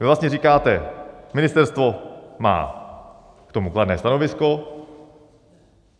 Vy vlastně říkáte: Ministerstvo má k tomu kladné stanovisko.